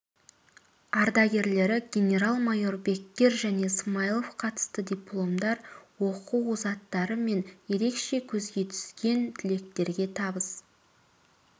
ардагерлері генерал-майор беккер және смаилов қатысты дипломдар оқу озаттары мен ерекше көзге түскен түлектерге табыс